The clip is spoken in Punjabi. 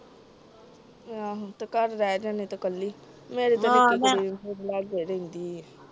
ਆਹੋ ਤੇ ਘਰ ਰਹਿ ਜਾਂਦੀ ਤੇ ਕੱਲੀ, ਮੇਰੀ ਤਾ ਨਿਕੀ ਕੁੜੀ ਵੀ ਮੇਰੇ ਲਗੇ ਰਹਿੰਦੀ ਆ